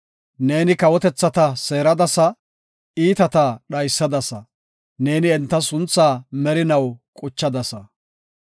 Neeni kawotethata seeradasa; iitata dhaysadasa. Neeni enta sunthaa merinaw quchadasa.